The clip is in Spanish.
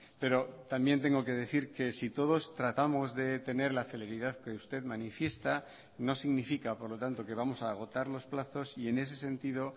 pero también tengo que decir que si todos tratamos de tener la celeridad que usted manifiesta no significa por lo tanto que vamos a agotar los plazos y en ese sentido